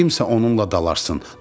Kimsə onunla dalaşsın.